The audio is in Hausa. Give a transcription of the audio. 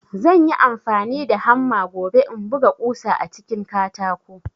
Zanyi amfani da hamma gobe in buga ƙusa a cikin katako